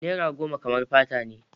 Naira goma kamar fata ne.